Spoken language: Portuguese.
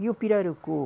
E o pirarucu?